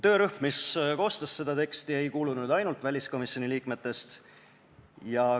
Töörühma, mis koostas seda teksti, ei kuulunud ainult väliskomisjoni liikmed.